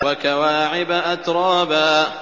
وَكَوَاعِبَ أَتْرَابًا